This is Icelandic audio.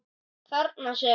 Þarna! segir hann.